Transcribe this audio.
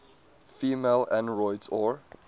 female androids or